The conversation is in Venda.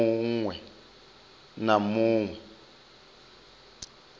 mu ṅwe na mu ṅwe